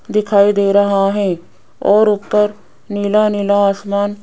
दिखाई दे रहा है और ऊपर नीला-नीला आसमान --